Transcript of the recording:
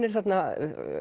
er þarna